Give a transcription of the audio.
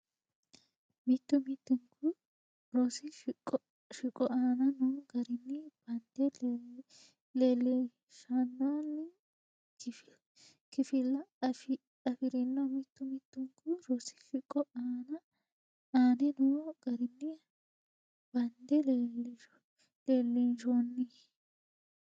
Mittu mittunku rosi shiqo aane noo garinni bande leellinshoonni kifilla afi rino Mittu mittunku rosi shiqo aane noo garinni bande leellinshoonni.